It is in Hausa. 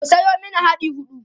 ku Sayo mani yadi huɗu